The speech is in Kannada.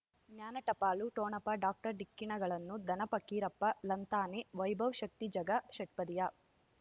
ಜ್ಞಾನ ಟಪಾಲು ಠೊಣಪ ಡಾಕ್ಟರ್ ಢಿಕ್ಕಿ ಣಗಳನು ಧನ ಫಕೀರಪ್ಪ ಳಂತಾನೆ ವೈಭವ್ ಶಕ್ತಿ ಝಗಾ ಷಟ್ಪದಿಯ